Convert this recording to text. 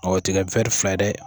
Awɔ tigɛ fila ye dɛ!